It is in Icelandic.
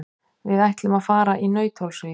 Við ætlum að fara í Nauthólsvík.